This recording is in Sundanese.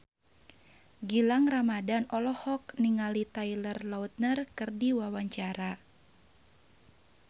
Gilang Ramadan olohok ningali Taylor Lautner keur diwawancara